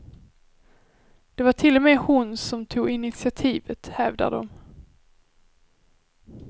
Det var till och med hon som tog initiativet, hävdar de.